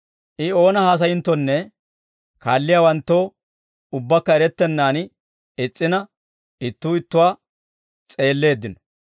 I oona haasayinttonne, kaalliyaawanttoo ubbaakka erettennaan is's'ina, ittuu ittuwaa s'eelleeddino.